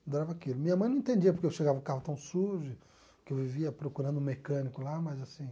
Adorava aquilo minha mãe não entendia porque eu chegava com o carro tão sujo, porque eu vivia procurando um mecânico lá, mas assim...